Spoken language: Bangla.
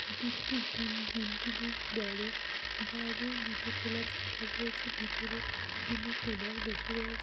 এটি একটি জিম । জিম -টি বেশ বড়। বাহিরে জুতো খোলার জায়গা রয়েছে। ভিতরে জিম এর ট্রেইনার বসা রয়েছে।